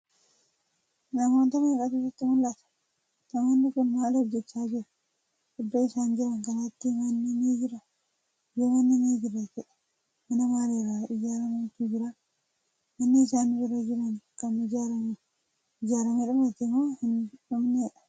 Namoota meeqatu sitti mul'ata?.namoonni Kuni maal hojjachaa jiru?.iddoo isaan Jiran kanatti manni ni jiraa?.yoo manni ni Jira ta'e mana maalirraa ijaarramutu Jira?.manni isaan bira Jiran Kan ijaaramee dhumate moo hin dhumneedha?.